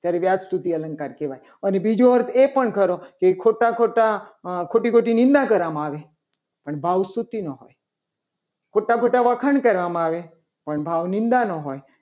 ત્યારે વ્યાજસ્તુતિ અલંકાર કહેવાય. અને બીજો અર્થ એ પણ ખરો કે ખોટા ખોટા ખોટી ખોટી ધંધા કરવામાં આવે. અને ભાવ સ્તુતિ નો હોય ખોટા ખોટા વખાણ કરવામાં આવે પણ ભાવ નિંદાનો હોય.